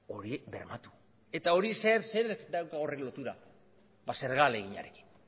hori bermatu eta zerekin dauka horri lotura ba zerga ahaleginarekin